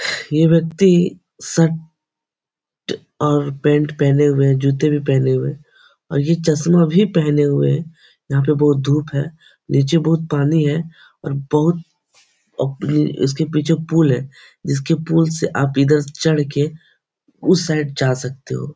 ये व्यक्ति शर्ट और पेंट पहने हुए है । जूते भी पहने हुए है और ये चश्मा भी पहने हुए है । यहाँ पे बहुत धुप है । निचे बहुत पानी है और बहुत उम् इसके पीछे पूल है । जिसके पूल से आप इधर चढ़ के उस साइड जा सकते हो ।